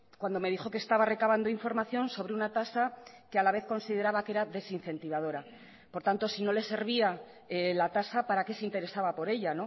cuando me dijo que estaba recabando información sobre una tasa que a la vez consideraba que era desincentivadora por tanto si no le servía la tasa para qué se interesaba por ella